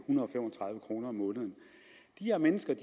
tredive kroner om måneden de her mennesker